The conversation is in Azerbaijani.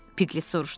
Piqlet soruşdu.